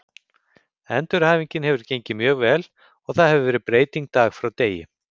Endurhæfingin hefur gengið mjög vel og það hefur verið breyting dag frá degi.